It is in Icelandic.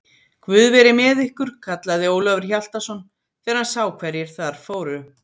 Guð veri með ykkur, kallaði Ólafur Hjaltason þegar hann sá hverjir þar fóru.